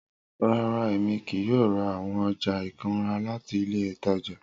Rara, Emi kii yoo ra awọn ọja ikunra lati ile itaja.